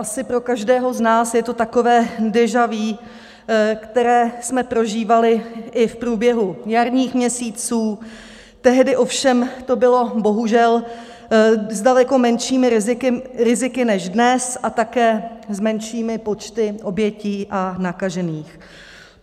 Asi pro každého z nás je to takové déjà vu, které jsme prožívali i v průběhu jarních měsíců, tehdy ovšem to bylo bohužel s daleko menšími riziky než dnes a také s menšími počty obětí a nakažených.